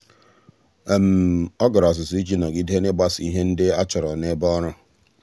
ọ́ gàrà ọ́zụ́zụ́ iji nọ́gídé n’ị́gbàsò ihe ndị e chọ́rọ́ n’ebe ọ́rụ́.